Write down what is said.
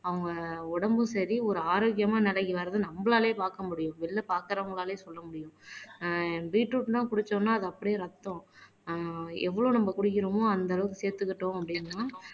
அவங்க உடம்பும் சரி ஒரு ஆரோக்கியமா வர்றது நம்மளாலேயே பார்க்க முடியும் வெளியில பார்க்கிறவங்களாலேயும் சொல்ல முடியும் ஆஹ் பீட்ரூட்லாம் குடிச்சோம்ன்னா அது அப்படியே ரத்தம் ஆஹ் எவ்வளோ நம்ம குடிக்கிறோமோ அந்த அளவுக்கு சேர்த்துக்கிட்டோம் அப்படின்னா